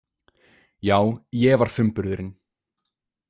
Já, ég var frumburðurinn.